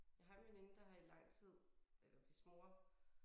Jeg har en veninde der har i lang tid eller hvis mor